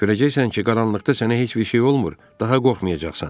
Görəcəksən ki, qaranlıqda sənə heç bir şey olmur, daha qorxmayacaqsan.